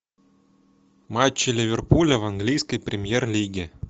матчи ливерпуля в английской премьер лиге